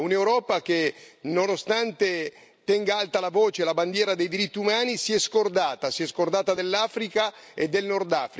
Un'Europa che, nonostante tenga alta la voce, la bandiera dei diritti umani, si è scordata, si è scordata dell'Africa e del Nordafrica.